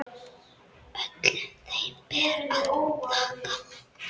Öllum þeim ber að þakka.